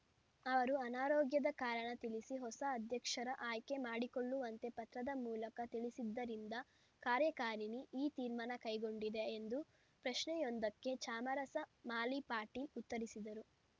ಅವರು ಅನಾರೋಗ್ಯದ ಕಾರಣ ತಿಳಿಸಿ ಹೊಸ ಅಧ್ಯಕ್ಷರ ಆಯ್ಕೆ ಮಾಡಿಕೊಳ್ಳುವಂತೆ ಪತ್ರದ ಮೂಲಕ ತಿಳಿಸಿದ್ದರಿಂದ ಕಾರ್ಯಕಾರಿಣಿ ಈ ತೀರ್ಮಾನ ಕೈಗೊಂಡಿದೆ ಎಂದು ಪ್ರಶ್ನೆಯೊಂದಕ್ಕೆ ಚಾಮರಸ ಮಾಲಿಪಾಟೀಲ್‌ ಉತ್ತರಿಸಿದರು